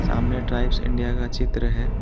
सामने Tribes India का चित्र है।